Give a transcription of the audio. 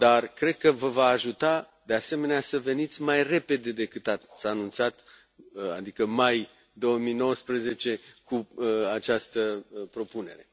Cred că vă va ajuta, de asemenea, să veniți mai repede decât s a anunțat, adică în mai 2019, cu această propunere.